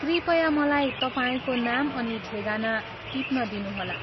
कृपया मलाई तपाईँको नाम अनि ठेगाना ठिप्न दिनुहोला।